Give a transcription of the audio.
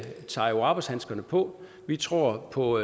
tager arbejdshandskerne på vi tror på